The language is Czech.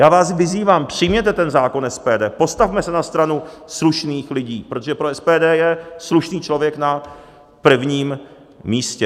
Já vás vyzývám, přijměte ten zákon SPD, postavme se na stranu slušných lidí, protože pro SPD je slušný člověk na prvním místě.